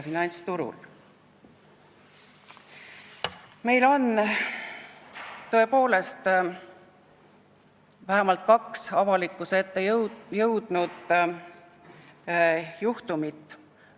Meil on tõepoolest vähemalt kaks sellist avalikkuse ette jõudnud juhtumit.